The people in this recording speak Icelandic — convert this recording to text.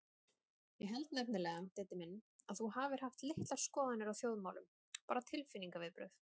Ég held nefnilega, Diddi minn, að þú hafir haft litlar skoðanir á þjóðmálum, bara tilfinningaviðbrögð.